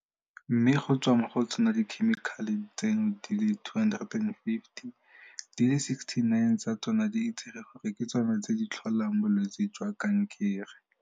Mme go tswa mo go tsona dikhemikhale tseno di le 250, di le 69 tsa tsona di itsege gore ke tsona tse di tlholang bolwetse jwa kankere.